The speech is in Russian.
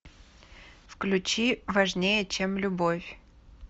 включи важнее чем любовь